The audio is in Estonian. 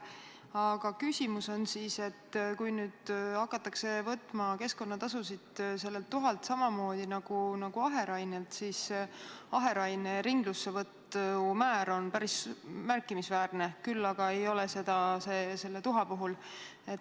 Aga küsimus on see, et kui nüüd hakatakse võtma keskkonnatasusid sellelt tuhalt samamoodi nagu aherainelt, siis aheraine ringlussevõtu määr on päris märkimisväärne, küll aga ei ole see nii tuha puhul.